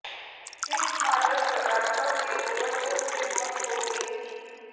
Heath मादक पदार्थो के ओवरडोस से मौत हो गई थी